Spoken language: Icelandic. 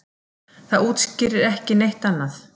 Það útskýrir ekki neitt annað.